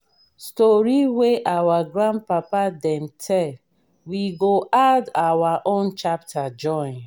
story wey our grandpapa dem tell we go add our own chapter join.